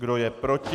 Kdo je proti?